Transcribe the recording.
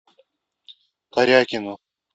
корякину